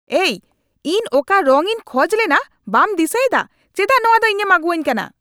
ᱮᱭ, ᱤᱧ ᱚᱠᱟ ᱨᱚᱝ ᱤᱧ ᱠᱷᱚᱡ ᱞᱮᱱᱟ ᱵᱟᱢ ᱫᱤᱥᱟᱹᱭᱮᱫᱟ ? ᱪᱮᱫᱟᱜ ᱱᱚᱣᱟ ᱫᱚ ᱤᱧᱮᱢ ᱟᱹᱜᱩᱣᱟᱹᱧ ᱠᱟᱱᱟ ?